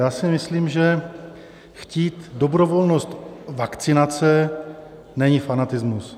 Já si myslím, že chtít dobrovolnost vakcinace není fanatismus.